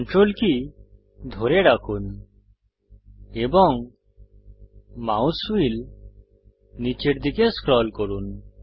Ctrl কী ধরে রাখুন এবং মাউস হুইল নীচের দিকে স্ক্রল করুন